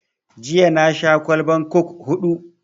Jiya na sha kwallban coke huɗu